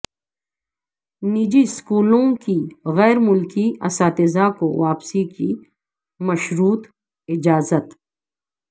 نجی سکولوں کے غیرملکی اساتذہ کو واپسی کی مشروط اجازت